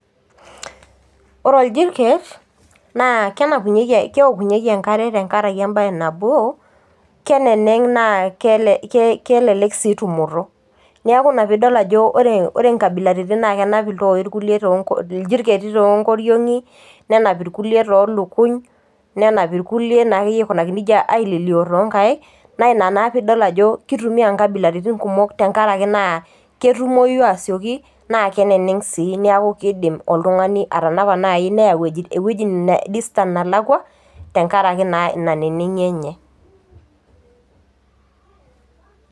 Ore orjiriket naa kenpunye keokunyeki enkare teneneng na kelelek sii tumoto ,neaku inapidol ajo ore nkabilaritin na kenap ltoi kulieiljiriketi tonkoriongi nenap rkulie tolukuny, nenap rkulie aikunaki nejia aililio tonkaek naina pidol ajo kitumia nkabilaitin kumok tenkaraki ketumoi asioki na keneneng sii na keidim oltungani atanapa, nai neya distance nalakwa tenkaraki inanenengi enye.